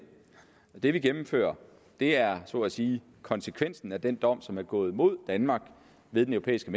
det vi gennemfører er så at sige konsekvensen af den dom som er gået imod danmark ved den europæiske